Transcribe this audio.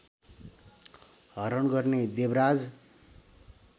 हरण गर्ने देवराज